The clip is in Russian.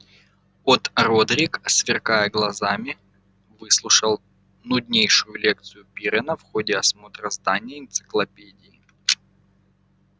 от родрик сверкая глазами выслушал нуднейшую лекцию пиренна в ходе осмотра здания энциклопедии